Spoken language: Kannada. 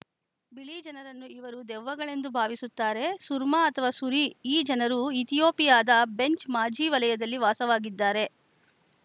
ಬಿಳಿ ಜನರನ್ನು ಇವರು ದೆವ್ವಗಳೆಂದು ಭಾವಿಸುತ್ತಾರೆ ಸುರ್ಮಾ ಅಥವಾ ಸುರಿ ಈ ಜನರು ಇಥಿಯೋಪಿಯಾದ ಬೆಂಚ್‌ ಮಾಝಿ ವಲಯದಲ್ಲಿ ವಾಸವಾಗಿದ್ದಾರೆ